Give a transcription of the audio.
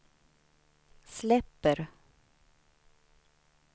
släpper